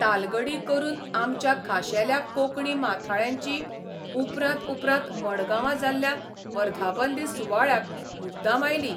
तालगडी करून आमच्या खाशेल्या कोंकणी माथाळ्यांची उपरांत उपरांत मडगांवां जाल्ल्या वर्धापन दीस सुवाळ्याक मुद्दाम आयली.